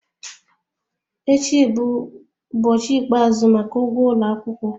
Echi bụ ụbọchị ikpeazụ maka ụgwọ ụlọ akwụkwọ